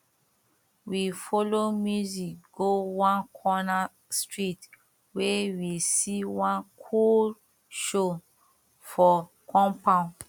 we follow music go one comer street wey we see one coole show for compound